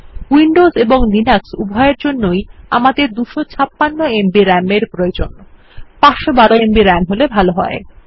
Windows এবং Linux উভয়ের জন্যই আমাদের 256 এমবি রাম এর প্রয়োজন 512 এমবি রাম হলে ভালো হয়